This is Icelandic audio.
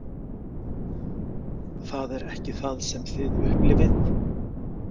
Það er ekki það sem þið upplifið?